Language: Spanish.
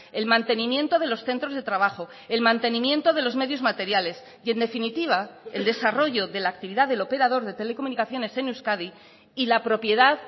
el mantenimiento de los centros de trabajo el mantenimiento de los medios materiales y en definitiva el desarrollo de la actividad del operador de telecomunicaciones en euskadi y la propiedad